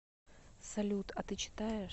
салют а ты читаешь